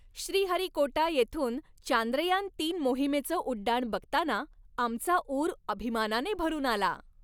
श्रीहरिकोटा येथून चांद्रयान तीन मोहिमेचं उड्डाण बघताना आमचा ऊर अभिमानाने भरून आला.